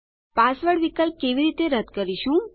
password વિકલ્પ કેવી રીતે રદ કરીશું